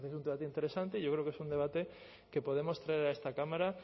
un debate interesante yo creo que es un debate que podemos traer a esta cámara